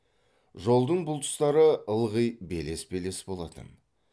жолдың бұл тұстары ылғи белес белес болатын